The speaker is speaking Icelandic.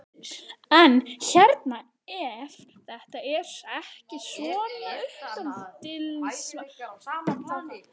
En hérna ef þetta er ekki svona uppeldismál, þá hvað?